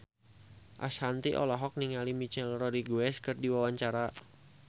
Ashanti olohok ningali Michelle Rodriguez keur diwawancara